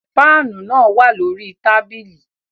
Faanu naa wa lori tabili